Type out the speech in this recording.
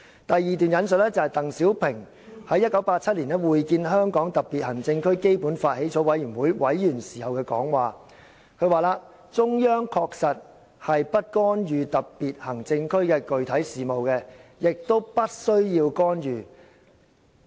"第二段引述是鄧小平在1987年會見香港特別行政區基本法起草委員會委員時的講話："中央確實是不干預特別行政區的具體事務的，也不需要干預。